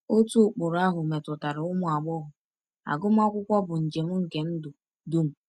Otu ụkpụrụ ahụ metụtara ụmụ agbọghọ: agụmakwụkwọ bụ njem nke ndụ dum.